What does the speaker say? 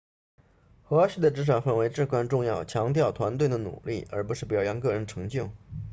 和谐的职场氛围至关重要强调团队的努力而不是表扬个人成就